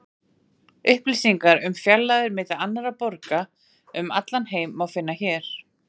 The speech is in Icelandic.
Upplýsingar um fjarlægðir milli annarra borga um allan heim má finna hér.